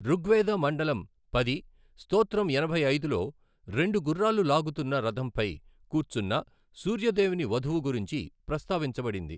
ఋగ్వేద మండలం పది, స్తోత్రం ఎనభై ఐదులో రెండు గుర్రాలు లాగుతున్న రథంపై కూర్చున్న సూర్య దేవుని వధువు గురించి ప్రస్తావించబడింది.